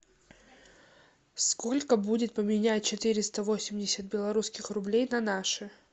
сколько будет поменять четыреста восемьдесят белорусских рублей на наши